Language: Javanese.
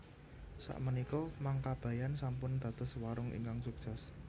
Sak menika Mang Kabayan sampun dados warung ingkang sukses